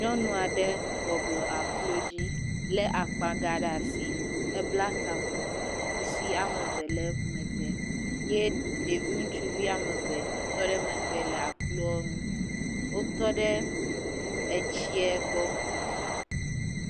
Nyɔnu aɖe bɔbɔ nɔ aklo dzi le akpagã ɖe asi ebla taku kusi woame eve le emegbe eye ɖevi ŋutsu eve tɔɖe emegbe le akloa nu wotɔ ɖe etsia gbɔ